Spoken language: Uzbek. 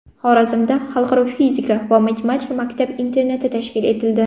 Xorazmda Xalqaro fizika va matematika maktab-internati tashkil etildi.